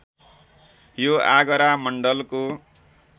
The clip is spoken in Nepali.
यो आगरा मण्डलको